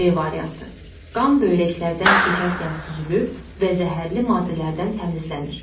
B variantı: Qan böyrəklərdən keçərkən süzülür və zəhərli maddələrdən təmizlənir.